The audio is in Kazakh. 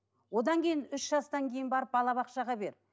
одан кейін үш жастан кейін барып балабақшаға бер